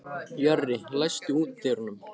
Jörri, læstu útidyrunum.